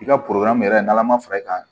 I ka yɛrɛ n'ala ma fara i kan